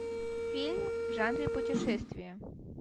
фильм в жанре путешествия